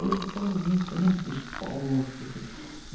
Hoje é tão bonito, né, o esporte e tudo.